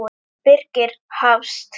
Birgir Hafst.